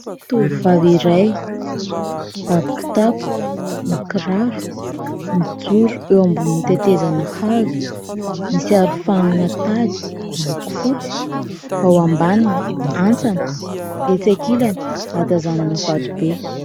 Tovovavy iray mibaby kitapo, mikiraro, mijoro eo ambonin'ny tetezana hazo, misy arofanina tady miloko fotsy, ao ambaniny antsana, etsy ankilany ahatazanana vato be.